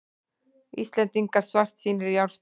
Íslendingar svartsýnir í árslok